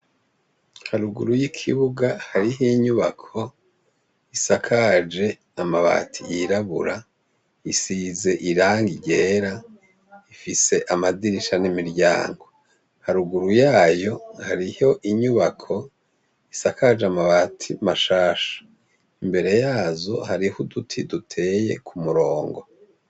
Haruguru y 'ikibuga harih' inyubako isakaj' amati yirabura, isiz' irangi ryera ifis' amadirisha n' imiryango. Haruguru yayo, harih' inyubak'isakaj' amabati mashash' imbere yazo harih' uduti dutey' umurongo.